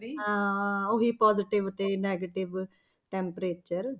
ਹਾਂ ਉਹੀ positive ਤੇ negative temperature